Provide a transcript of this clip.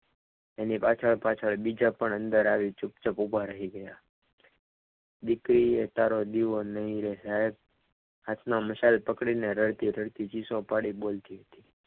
એની અંદર બીજા પણ પાછળ પાછળ અંદર આવીને ઊભા ચૂપચાપ રહી ગય દીકરી ને તારો દીવો નહીં રે સાહેબ આઠમાં મશાલ પકડીને રડતી રડતી ચીસો પાડીને બોલતી હતી.